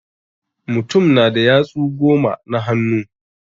Mutum na da yatsu goma na hannu.